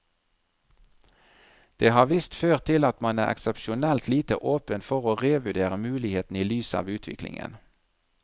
Det har visst ført til at man er eksepsjonelt lite åpen for å revurdere mulighetene i lys av utviklingen.